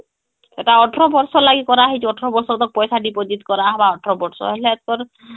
ଏଟା ୧୮ ବର୍ଷ ଲାଗି କରା ହେଇଛି୧୮ ବର୍ଷ ତକ ପଇସା deposit କର ହବା ୧୮ ବର୍ଷ ହେଲା ପର